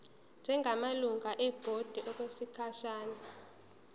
njengamalungu ebhodi okwesikhashana